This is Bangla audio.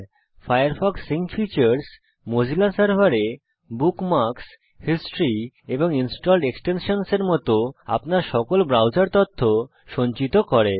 ফায়ারফক্স সিঙ্ক ফিচার্স মোজিলা সার্ভারে বুকমার্কস হিস্টরি এবং ইনস্টলড এক্সটেনশনসহ এর মত আপনার সকল ব্রাউজার তথ্য সঞ্চিত করে